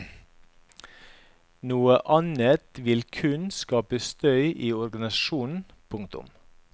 Noe annet vil kun skape støy i organisasjonen. punktum